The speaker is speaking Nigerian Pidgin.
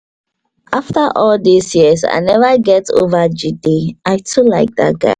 after all dis years i never get over jide i too like dat guy